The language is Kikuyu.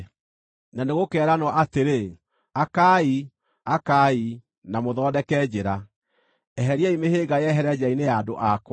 Na nĩgũkeeranwo atĩrĩ: “Akaai, akaai, na mũthondeke njĩra! Eheriai mĩhĩnga yehere njĩra-inĩ ya andũ akwa.”